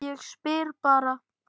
Ég bara spyr.